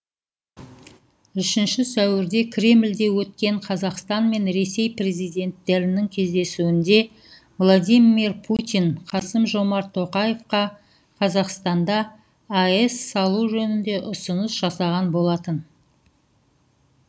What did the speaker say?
үшінші сәуірде кремьде өткен қазақстан мен ресей президенттерінің кездесуінде владимир путин қасым жомарт тоқаевқа қазақстанда аэс салу жөнінде ұсыныс жасаған болатын